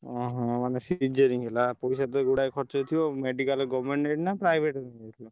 ଓହୋ ମାନେ cesarean ହେଲା ପଇସା ତ ଗୁଡାଏ ଖର୍ଚ୍ଚ ହେଇଥିବ medical government ନାଁ private ହେଇଥିଲା?